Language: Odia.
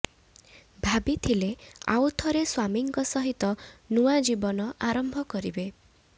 ଭାବିଥିଲେ ଆଉଥରେ ସ୍ୱାମୀଙ୍କ ସହିତ ନୂଆ ଜୀବନ ଆରମ୍ଭ କରିବେ